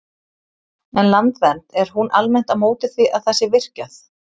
En Landvernd, er hún almennt á móti því að það sé virkjað?